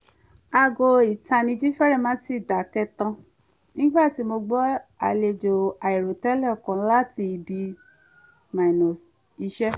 aago ìtanijí fẹ́rẹ̀ má tíì dákẹ́ tán nígbà tí mo gba àlejò àìròtẹ́lẹ̀ kan láti ibi-iṣẹ́